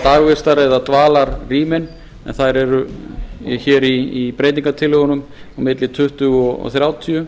dagvistar eða dvalarrýmin en í breytingartillögunum eru það á milli tuttugu og þrjátíu